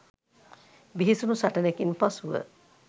බිහිසුණු සටනකින් පසුව